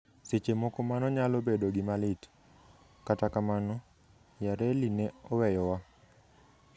Seche moko mano nyalo bedo gima lit, kata kamano, Yarely ne oweyowa.